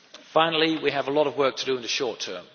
pact. Finally, we have a lot of work to do in the short